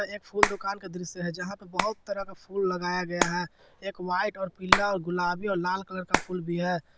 एक फूल दुकान का दृश्य है जहां पर बहुत तरह का फूल लगाया गया है एक वाइट और पीला गुलाबी और लाल कलर का फूल भी है।